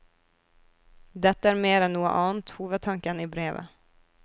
Dette er mer enn noe annet hovedtanken i brevet.